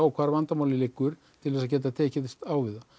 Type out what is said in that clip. hvar vandamálið liggur til að geta tekist á við það